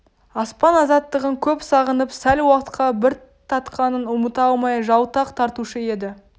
аспан азаттығын көп сағынып сәл уақытқа бір татқанын ұмыта алмай жалтақ тартушы еді